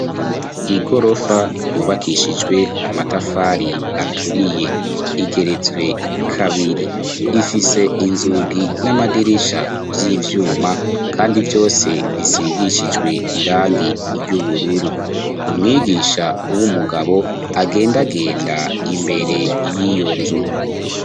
Igorofa yubakishijwe amatafari aturiye, igeretswe kabiri ,ifise inzugi n'amadirisha vy'ivyuma ,kandi vyose bisigishijwe irangi ry'ubururu ,umwigisha w'umugabo agendagenda imbere y'iyo nzu.